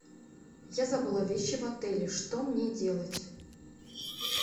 я забыла вещи в отеле что мне делать